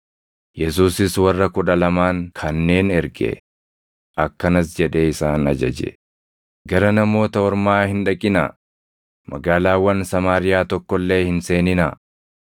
Yesuusis warra kudha lamaan kanneen erge; akkanas jedhee isaan ajaje; “Gara Namoota Ormaa hin dhaqinaa; magaalaawwan Samaariyaa tokko illee hin seeninaa.